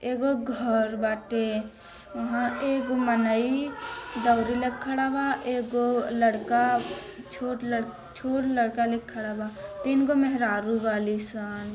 एगो घर बाटे वहाँ एगो मनई दौरी लेके खड़ा बा एगो लड़का छोट लड़का लख्खड़ा बा तीन गो मेहरारु बाली सन |